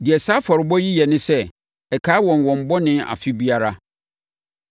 Deɛ saa afɔrebɔ yi yɛ ne sɛ, ɛkae wɔn wɔn bɔne afe biara.